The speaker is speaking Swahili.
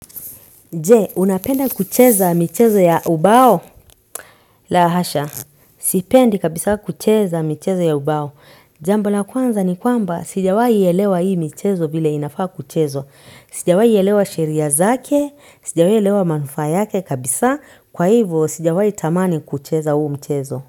Je, unapenda kucheza michezo ya ubao la hasha. Sipendi kabisa kucheza mchezo ya ubao. Jambo la kwanza ni kwamba, sijawahielewa hii michezo vile inafaa kuchezwa sijawahi elewa sheria zake, sijawahi elewa manufaa yake kabisa. Kwa hivyo, sijawahi tamani kucheza huu mchezo.